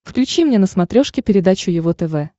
включи мне на смотрешке передачу его тв